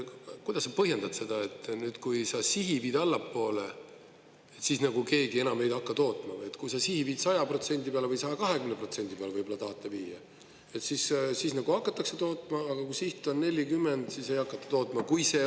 Kuidas te põhjendate seda, et kui sa sihi viid allapoole, siis keegi enam ei hakka tootma, kui sa viid 100% peale või 120% peale võib-olla tahate viia, siis hakatakse tootma, aga kui siht on 40, siis ei hakata tootma?